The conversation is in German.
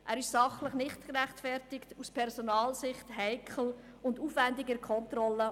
Er ist sachlich nicht gerechtfertigt, aus Personalsicht heikel und aufwendig in der Kontrolle.